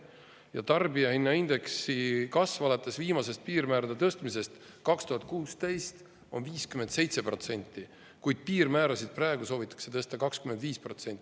Ja tarbijahinnaindeksi kasv alates viimasest piirmäärade tõstmisest 2016. aastal on 57%, kuid piirmäärasid soovitakse praegu tõsta 25%.